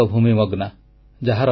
ଅଦରାଗ ଭୁମି ମଗ୍ନା